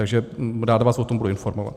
Takže rád vás o tom budu informovat.